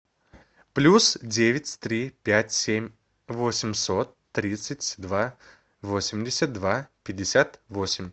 плюс девять три пять семь восемьсот тридцать два восемьдесят два пятьдесят восемь